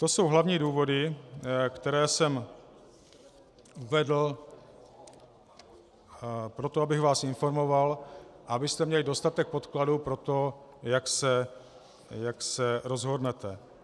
To jsou hlavní důvody, které jsem uvedl proto, abych vás informoval a abyste měli dostatek podkladů pro to, jak se rozhodnete.